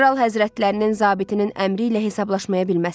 Kral həzrətlərinin zabitinin əmri ilə hesablaşmayabilməzsən.